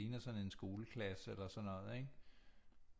Ligner sådan en skoleklasse eller sådan noget ikke